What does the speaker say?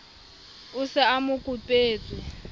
o se a mo kopetswe